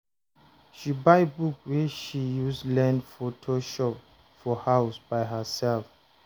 She buy book wey she use learn photoshop for house by herself.